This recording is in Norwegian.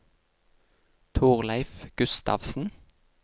Torleif Gustavsen